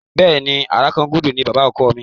Bẹ́ẹ̀ni, Àràkangúdú ni bàbá ọkọ mi.